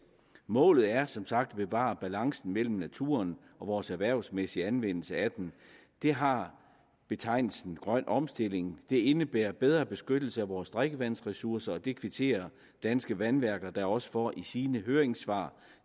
målet er som sagt at bevare balancen mellem naturen og vores erhvervsmæssige anvendelse af den det har betegnelsen grøn omstilling indebærer bedre beskyttelse af vores drikkevandsressourcer og det kvitterer danske vandværker da også for i sine høringssvar